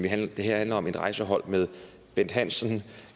det her alt om et rejsehold med bent hansen